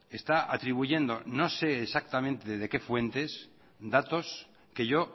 está atribuyendo no sé exactamente desde qué fuentes datos que yo